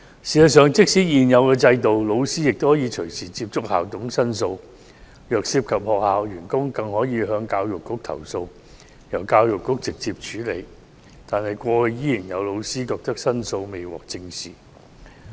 事實上，即使在現有制度下，老師也可隨時接觸校董並作出申訴，如果涉及學校員工，更可向教育局投訴，由教育局直接處理，但是，過去仍有老師反映申訴未獲正視。